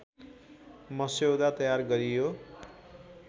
मस्यौदा तयार गरियो